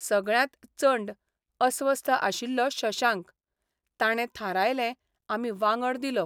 सगळ्यांत चंड अस्वस्थ आशिल्लो शशांक ताणे थारायलें आमी वांगड दिलो.